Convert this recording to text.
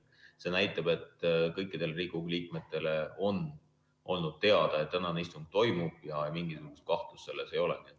See näitab, et kõikidele Riigikogu liikmetele on olnud teada, et tänane istung toimub, ja mingit kahtlust selles ei ole.